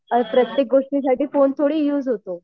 प्रत्येक गोष्टीसाठी फोन थोडी युज होतो.